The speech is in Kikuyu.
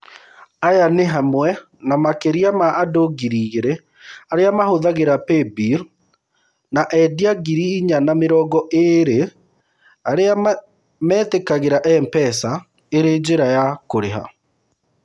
Aya nĩ hamwe na makĩria ma andũ ngiri igĩrĩ arĩa mahũthagĩra PayBill, na endia ngiri inya na mĩrongo ĩĩrĩ arĩa metĩkagĩra M-PESA ĩrĩ njĩra ya kũrĩha.